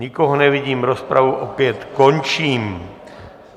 Nikoho nevidím, rozpravu opět končím.